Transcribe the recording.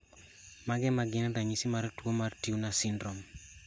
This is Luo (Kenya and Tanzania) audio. Mage magin ranyisi mag tuo mar Turner syndrome?